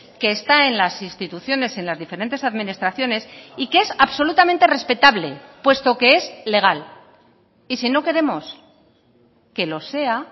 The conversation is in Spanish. que está en las instituciones en las diferentes administraciones y que es absolutamente respetable puesto que es legal y si no queremos que lo sea